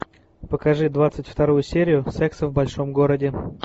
покажи двадцать вторую серию секса в большом городе